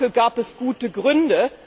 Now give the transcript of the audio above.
Dafür gab es gute Gründe.